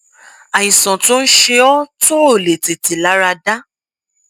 àìsàn tó ń ṣe ọ tó ò lè tètè lára dá